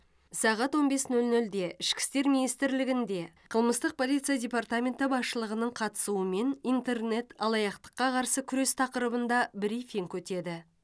сағат он бес нөл нөлде ішкі істер министрлігінде қылмыстық полиция департаменті басшылығының қатысуымен интернет алаяқтыққа қарсы күрес тақырыбында брифинг өтеді